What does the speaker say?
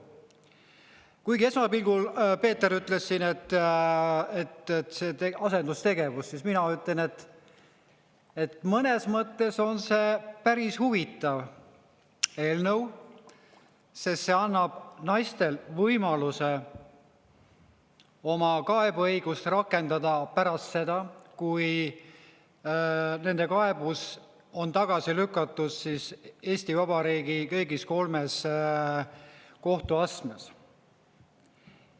Kuigi esmapilgul, Peeter ütles siin, et see on asendustegevus, siis mina ütlen, et mõnes mõttes on see päris huvitav eelnõu, sest see annab naistele võimaluse oma kaebeõigust rakendada pärast seda, kui nende kaebus on tagasi lükatud Eesti Vabariigi kõigis kolmes kohtuastmes.